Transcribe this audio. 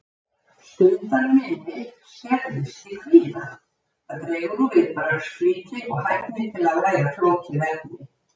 Stundarminni skerðist í kvíða, það dregur úr viðbragðsflýti og hæfni til að læra flókið efni.